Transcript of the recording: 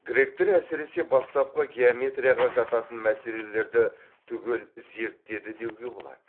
гректер әсіресе бастапқы геометрияға жататын мәселелерді түгел зерттеді деуге болады